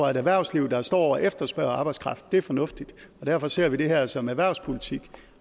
erhvervsliv der står og efterspørger arbejdskraft er det fornuftigt og derfor ser vi det her som erhvervspolitik